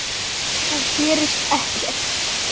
Það gerist ekkert.